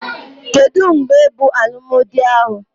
Kedụ mgbe bụ alụmdi ahụ?